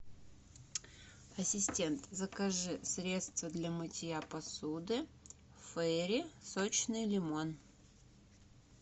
ассистент закажи средство для мытья посуды фейри сочный лимон